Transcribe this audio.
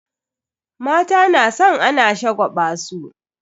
Mata na san ana shagwaba su.